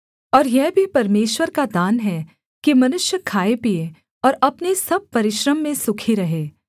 और यह भी परमेश्वर का दान है कि मनुष्य खाएपीए और अपने सब परिश्रम में सुखी रहे